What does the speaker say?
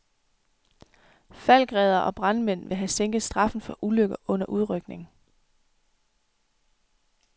Falckreddere og brandmænd vil have sænket straffen for ulykker under udrykning.